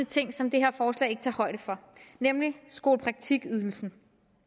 ting som det her forslag ikke tager højde for nemlig skolepraktikydelsen